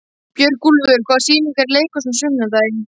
Björgúlfur, hvaða sýningar eru í leikhúsinu á sunnudaginn?